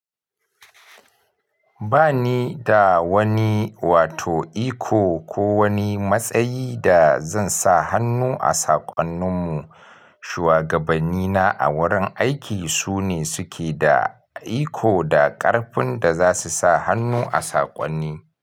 Ba ni da wani wato iko ko wani matsayi da zan sa hannu a saƙonnin mu. Shuwagabanni na a wurin aiki su ne suke da iko da ƙarfin da za su sa hannu a saƙonni.